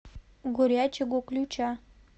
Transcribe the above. горячего ключа